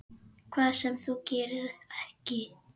Hvað sem þú gerir, ekki.